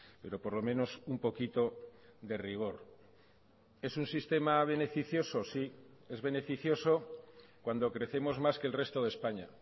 pero por lo menos un poquito de rigor es un sistema beneficioso sí es beneficioso cuando crecemos más que el resto de españa